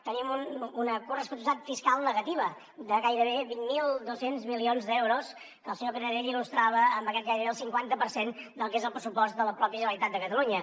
tenim una corresponsabilitat fiscal negativa de gairebé vint mil dos cents milions d’euros que el senyor canadell il·lustrava amb aquest gairebé cinquanta per cent del que és el pressupost de la pròpia generalitat de catalunya